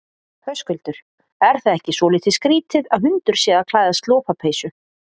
Höskuldur: Er það ekki svolítið skrítið að hundur sé að klæðast lopapeysu?